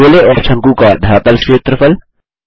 गोले और शंकु का धरातल क्षेत्रफल